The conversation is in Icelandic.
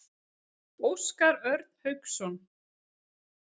Óskar Örn Hauksson.